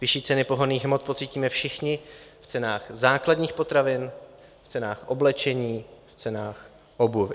Vyšší ceny pohonných hmot pocítíme všichni v cenách základních potravin, v cenách oblečení, v cenách obuvi.